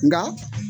Nka